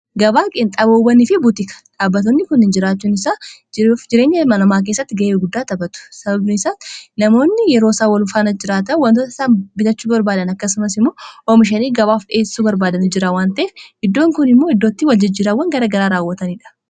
gabaaqeen xaboowanii fi butika dhaabatoonni kun hin jireenya malamaa kessatti ga'eeguddaa tapatu sababnisaa namoonni yeroo isawalfaana jiraata wantoota isaa bitachuu barbaadan akkasumas immoo oomishanii gabaaf dheessuu barbaadan jiraawwantee iddoon kun immoo iddootti waljijjiraawwan gara garaa raawwataniidha